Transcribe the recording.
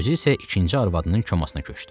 Özü isə ikinci arvadının komasına köçdü.